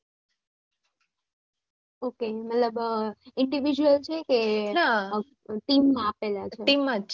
ok મતલબ individual છે કે team મા આપેલા છે